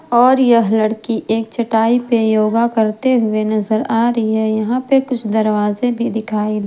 और यह लड़की एक चटाई पे योगा करते हुए नजर आ रही है यहां पे कुछ दरवाजे भी दिखाई--